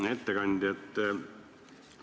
Hea ettekandja!